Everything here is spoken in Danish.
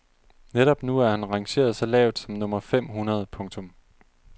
Netop nu er han rangeret så lavt som nummer fem hundrede. punktum